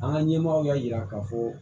An ka ɲɛmɔgɔw y'a yira k'a fɔ